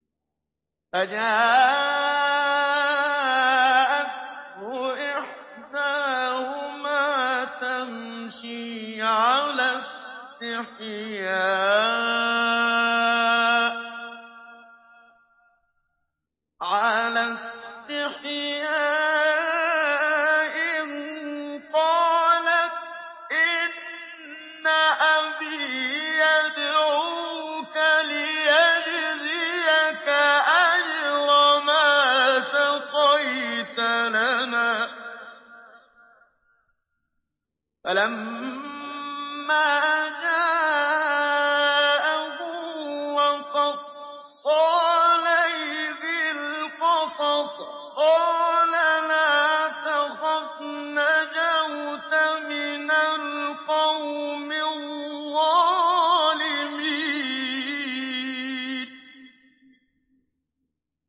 فَجَاءَتْهُ إِحْدَاهُمَا تَمْشِي عَلَى اسْتِحْيَاءٍ قَالَتْ إِنَّ أَبِي يَدْعُوكَ لِيَجْزِيَكَ أَجْرَ مَا سَقَيْتَ لَنَا ۚ فَلَمَّا جَاءَهُ وَقَصَّ عَلَيْهِ الْقَصَصَ قَالَ لَا تَخَفْ ۖ نَجَوْتَ مِنَ الْقَوْمِ الظَّالِمِينَ